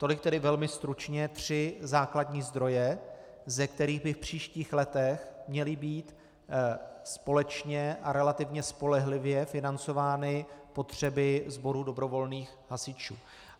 Tolik tedy velmi stručně tři základní zdroje, ze kterých by v příštích letech měly být společně a relativně spolehlivě financovány potřeby sboru dobrovolných hasičů.